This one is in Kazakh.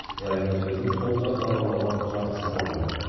жайық өзенінің сол жақ жағалауы жарықсыз қалған еді